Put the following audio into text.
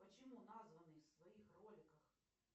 почему названный в своих роликах